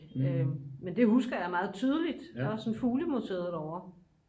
men det husker jeg meget tydeligt der var sådan et fugle museum derovre